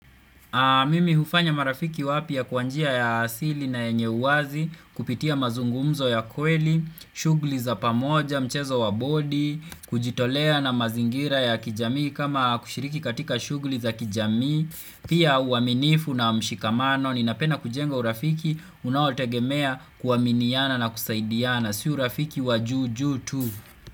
Mimi hufanya marafiki wapya kwa njia ya asili na yenye uwazi, kupitia mazungumzo ya kweli, shughli za pamoja, mchezo wa body, kujitolea na mazingira ya kijamii kama kushiriki katika shugli za kijamii, pia uaminifu na mshikamano, ninapenda kujenga urafiki, unaotegemea kuaminiana na kusaidiana, si urafiki wa juu juu tu.